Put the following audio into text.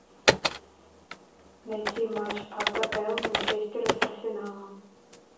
найти матч апл манчестера с арсеналом